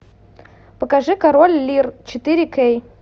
покажи король лир четыре кей